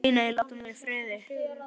Nei, nei, látum þau í friði.